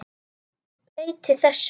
Breyti þessu.